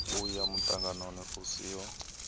u ya muṱanganoni u siho